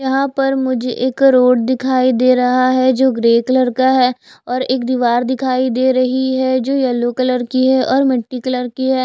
यहाॅं पर मुझे एक रोड दिखाई दे रहा है जो ग्रे कलर का है और एक दीवार दिखाई दे रही है जो यलो कलर की है और मल्टी कलर की है।